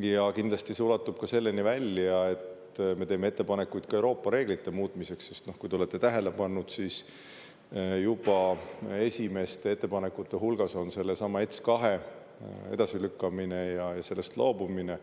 Ja kindlasti see ulatub ka selleni välja, et me teeme ettepanekuid ka Euroopa reeglite muutmiseks, sest kui te olete tähele pannud, siis juba esimeste ettepanekute hulgas on sellesama ETS2 edasilükkamine ja sellest loobumine,